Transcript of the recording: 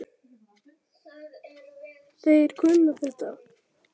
Þeir kunna þetta.